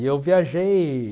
E eu viajei...